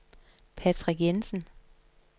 Patrick Jensen